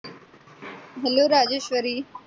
hello Rajeshwari.